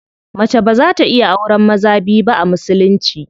Mace baza ta iya auren maza biyu ba a musulunci.